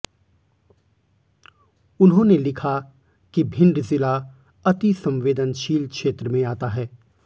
उन्होंने लिखा कि भिंड जिला अतिसंवेदनशील क्षेत्र में आता है